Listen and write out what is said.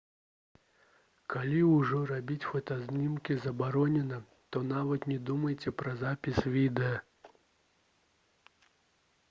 калі ўжо рабіць фотаздымкі забаронена то нават не думайце пра запіс відэа